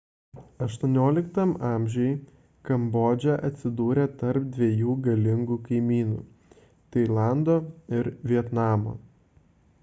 xviii a kambodža atsidūrė tarp dviejų galingų kaimynių – tailando ir vietnamo